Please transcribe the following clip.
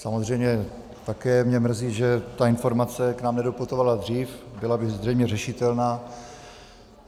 Samozřejmě také mě mrzí, že ta informace k nám nedoputovala dřív, byla by zřejmě řešitelná.